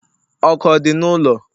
ọkụ ọ dị n'ụlọ?